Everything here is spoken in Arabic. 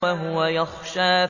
وَهُوَ يَخْشَىٰ